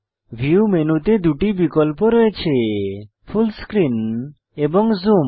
view মেনুতে দুটি বিকল্প রয়েছে ফুল স্ক্রিন এবং জুম